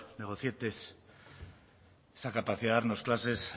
negocietes esa capacidad de darnos clases